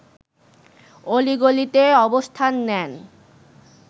অলি-গলিতে অবস্থান নেন